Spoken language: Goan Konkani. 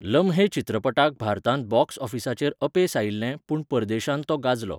लम्हे चित्रपटाक भारतांत बॉक्स ऑफिसाचेर अपेस आयिल्लें पूण परदेशांत तो गाजलो.